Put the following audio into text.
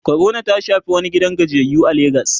corona ta Shafi wani gidan gajiyayyu a legas